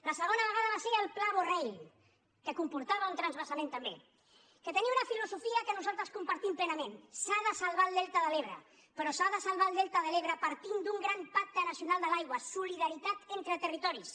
la segona vegada va ser el pla borrell que comportava un transvasament també que tenia una filosofia que nosaltres compartim plenament s’ha de salvar el delta de l’ebre però s’ha de salvar el delta de l’ebre partint d’un gran pacte nacional de l’aigua solidaritat entre territoris